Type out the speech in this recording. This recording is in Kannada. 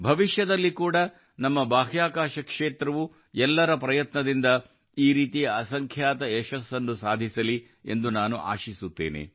ಭವಿಷ್ಯದಲ್ಲಿ ಕೂಡ ನಮ್ಮ ಬಾಹ್ಯಾಕಾಶ ಕ್ಷೇತ್ರವು ಎಲ್ಲರ ಪ್ರಯತ್ನದಿಂದ ಈ ರೀತಿಯ ಅಸಂಖ್ಯಾತ ಯಶಸ್ಸನ್ನು ಸಾಧಿಸಲಿ ಎಂದು ನಾನು ಆಶಿಸುತ್ತೇನೆ